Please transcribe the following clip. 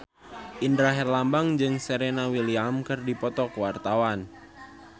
Indra Herlambang jeung Serena Williams keur dipoto ku wartawan